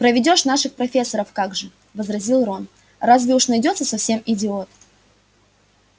проведёшь наших профессоров как же возразил рон разве уж найдётся совсем идиот